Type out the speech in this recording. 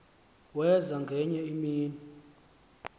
waza ngenye imini